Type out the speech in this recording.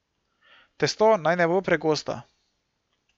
Testo naj ne bo pregosto.